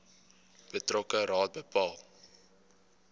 betrokke raad bepaal